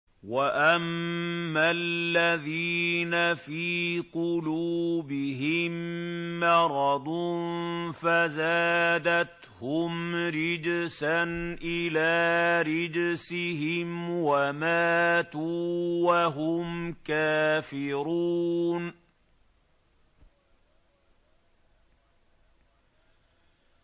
وَأَمَّا الَّذِينَ فِي قُلُوبِهِم مَّرَضٌ فَزَادَتْهُمْ رِجْسًا إِلَىٰ رِجْسِهِمْ وَمَاتُوا وَهُمْ كَافِرُونَ